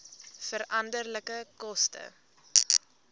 veranderlike koste